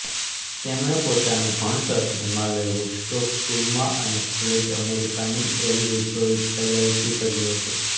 તેમણે પોતાનું ભણતર હિમાલય વુડસ્ટોક સ્કૂલમાં અને કોલેજ અમેરિકાની યેલ વિશ્વવિદ્યાલયથી કર્યું હતું